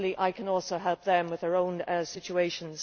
Equally I can also help them with their own situations.